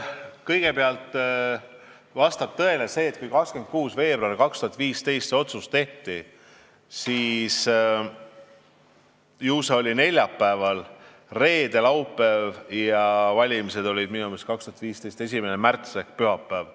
Kõigepealt, vastab tõele, et kui 26. veebruaril 2015 see otsus tehti, oli neljapäev, siis tulid reede ja laupäev ning valimised olid minu meelest 2015. aasta 1. märtsil ehk pühapäeval.